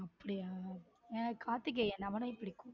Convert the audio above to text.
அப்பிடியா எனக்கு கார்த்திகேயன் அவனையும் பிடிக்கும்.